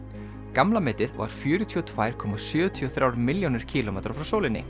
gamla metið var fjörutíu og tvær komma sjötíu og þrjár milljónir kílómetra frá sólinni